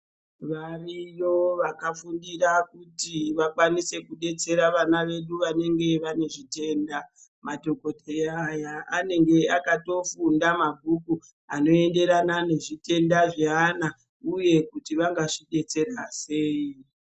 Variyo vakafundira kuti vakwanise kudetsera vana vedu vanenge vane zvitenda, madhokoteya aya anenge akatofunda mabhuku ano enderana nezvitenda zveana uye kuti vanga zvidetsera sei.